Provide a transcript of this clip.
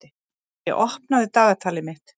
Geiri, opnaðu dagatalið mitt.